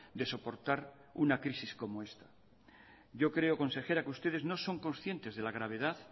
de soportar una crisis como esta yo creo consejera que ustedes no son conscientes de la gravedad